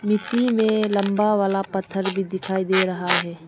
मिट्टी में लंबा वाला पत्थर भी दिखाई दे रहा है।